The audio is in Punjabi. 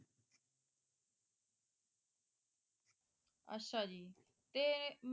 ਅੱਛਾ ਜੀ ਤੇ